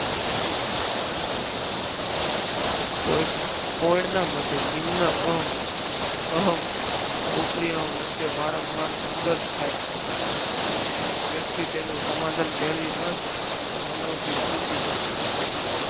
કોઈ પોઈડા માટે નિમ્ન અહમ અને ઉપરી અહમ વચ્ચે વારંવાર સંઘર્ષ થાય અને વ્યક્તિ તેનું સમાધાન મેળવી ન શકે તો મનો વિકૃતિની શરૂઆત થાય છે.